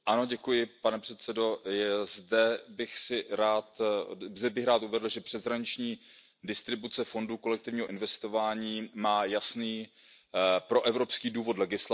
Pane předsedající, zde bych rád uvedl, že přeshraniční distribuce fondů kolektivního investování má jasný proevropský důvod legislativy.